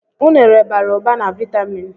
Unere bara ụba na vaitamin.